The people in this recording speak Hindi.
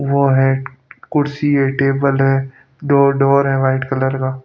वो है कुर्सी है टेबल है दो डोर है वाइट कलर का --